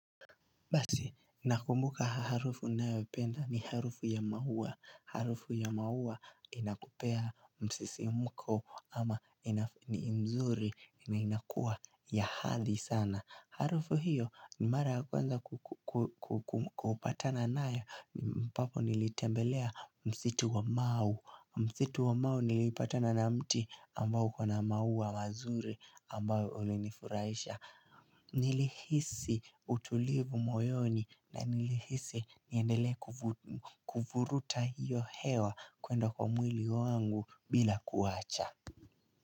Basi, nakumbuka harufu ninayopenda ni harufu ya mauwa. Harufu ya mauwa inakupea msisimko ama ni mzuri na inakua ya hadhi sana. Harufu hiyo ni mara kwanza kupatana nayo papo nilitembelea msitu wa mau. Msitu wa mau nilipatana na mti ambao uko na mauwa mazuri ambao ulinifurahisha. Nilihisi utulivu moyoni na nilihisi niendelee kuvuruta hiyo hewa kwenda kwa mwili wangu bila kuwacha.